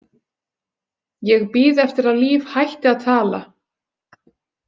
ég bíð eftir að Líf hætti að tala.